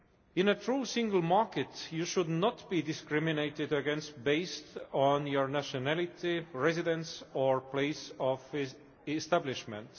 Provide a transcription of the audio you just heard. In a true single market, you should not be discriminated against based on your nationality, residence or place of establishment.